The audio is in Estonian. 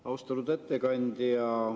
Austatud ettekandja!